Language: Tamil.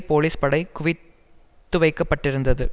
போலீஸ் படை குவித்துவைக்கப்பட்டிருந்தது